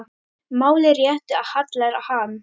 Máli réttu hallar hann